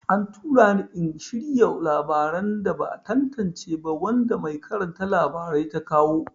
An tura ni in shirya labaran da ba a tantance ba wanda mai karanta labarai ta kawo.